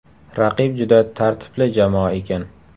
Raqib juda tartibli jamoa ekan.